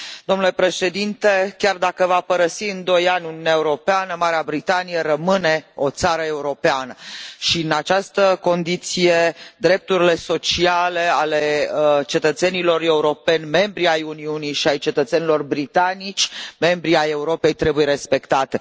Domnule președinte, chiar dacă va părăsi în doi ani Uniunea Europeană, Marea Britanie rămâne o țară europeană și, în aceste condiții, drepturile sociale ale cetățenilor europeni, membri ai Uniunii, și ale cetățenilor britanici, membri ai Europei, trebuie respectate.